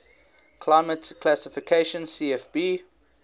climate classification cfb